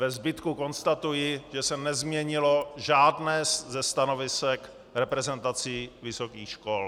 Ve zbytku konstatuji, že se nezměnilo žádné ze stanovisek reprezentací vysokých škol.